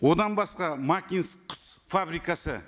одан басқа макинск құс фабрикасы